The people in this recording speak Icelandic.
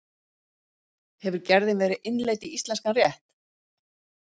Hefur gerðin verið innleidd í íslenskan rétt?